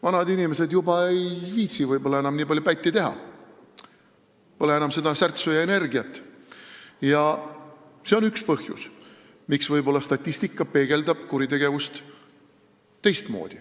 Vanad inimesed ei viitsi võib-olla enam nii palju pätti teha, pole enam seda särtsu ja energiat, ja see on üks põhjusi, miks võib-olla statistika peegeldab kuritegevust teistmoodi.